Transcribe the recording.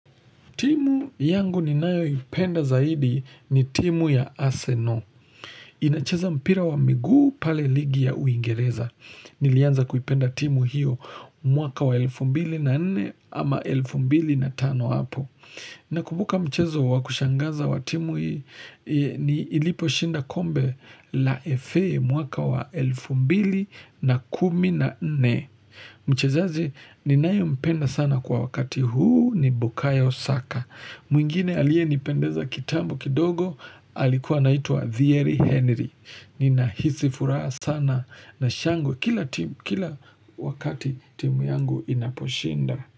Timu yangu ni nayoipenda zaidi ni timu ya arsenal Inacheza mpira wa miguu pale ligi ya uingereza. Nilianza kuipenda timu hiyo mwaka wa elfu mbili na nne ama elfu mbili na tano hapo. Nakubuka mchezo wakushangaza wa timu ni ilipo shinda kombe la FE mwaka wa elfu mbili na kumi na ne. Mchezaji ni nayo mpenda sana kwa wakati huu ni bukayo saka. Mwingine aliyenipendeza kitambo kidogo Alikuwa naituwa Thiery Henry Ninahisi furaha sana na shangwe Kila wakati timu yangu inaposhinda.